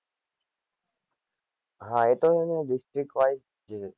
હ એ તો એને district wise છે